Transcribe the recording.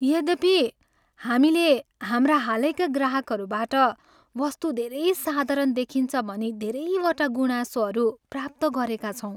यद्यपि, हामीले हाम्रा हालैका ग्राहकहरूबाट वस्तु धेरै साधारण देखिन्छ भनी धेरैवटा गुनासोहरू प्राप्त गरेका छौँ।